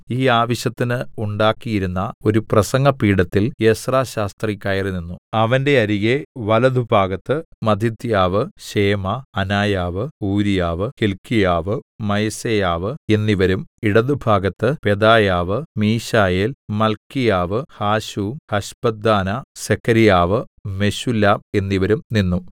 ഈ ആവശ്യത്തിന് ഉണ്ടാക്കിയിരുന്ന ഒരു പ്രസംഗപീഠത്തിൽ എസ്രാ ശാസ്ത്രി കയറിനിന്നു അവന്റെ അരികെ വലത്തുഭാഗത്ത് മത്ഥിത്ഥ്യാവ് ശേമാ അനായാവ് ഊരീയാവ് ഹില്ക്കീയാവ് മയസേയാവ് എന്നിവരും ഇടത്തുഭാഗത്ത് പെദായാവ് മീശായേൽ മല്ക്കീയാവ് ഹാശൂം ഹശ്ബദ്ദാനാ സെഖര്യാവ് മെശുല്ലാം എന്നിവരും നിന്നു